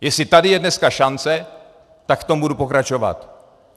Jestli tady je dneska šance, tak v tom budu pokračovat.